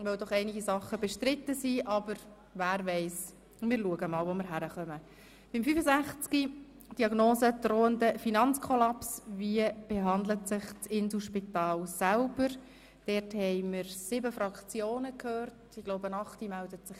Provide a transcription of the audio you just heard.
Wir haben bisher sieben Fraktionsvoten gehört, und ich glaube nicht, dass sich eine achte Fraktion zu Wort melden wird.